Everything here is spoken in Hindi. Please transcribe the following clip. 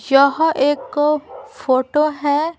यह एक फोटो है।